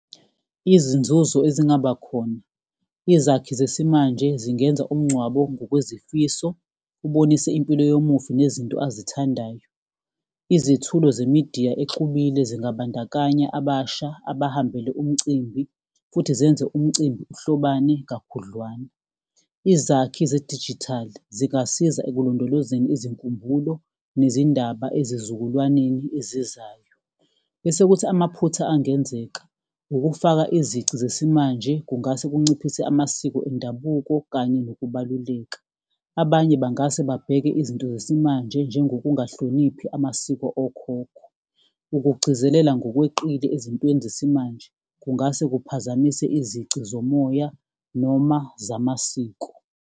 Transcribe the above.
Izinzuzo ezingaba khona, izakhi zesimanje zingenza umngcwabo ngokwezifiso, ubonise impilo yomufi nezinto azithandayo. Izethulo zemidiya exubile zingabandakanya abasha abahambele umcimbi, futhi zenze umcimbi uhlobane kakhudlwana. Izakhi zedijithali zingasiza ekulondolozeni izinkumbulo nezindaba ezizukulwaneni ezizayo, bese kuthi amaphutha angenzeka, ukufaka izici zesimanje. Kungase kunciphise amasiko endabuko kanye nokubaluleka. Abanye bangase babheke izinto zesimanje njengokungahloniphi amasiko okhokho. Ukugcizelela ngokweqile ezintweni zesimanje kungase kuphazamise izici zomoya noma zamasiko.